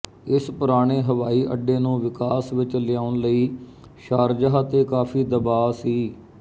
ਇਸ ਪੁਰਾਣੇ ਹਵਾਈ ਅੱਡੇ ਨੂੰ ਵਿਕਾਸ ਵਿੱਚ ਲਿਆਉਣ ਲਈ ਸ਼ਾਰਜਾਹ ਤੇ ਕਾਫੀ ਦਬਾਅ ਸੀ